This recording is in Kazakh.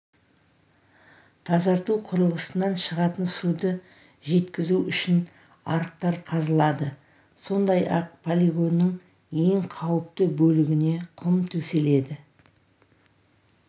тазарту құрылғысынан шығатын суды жеткізу үшін арықтар қазылады сондай-ақ полигонның ең қауіпті бөлігіне құм төселеді